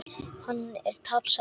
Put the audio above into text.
Hann er tapsár.